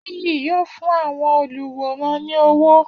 . Nìyí yóò fún àwọn oluwòran ní owó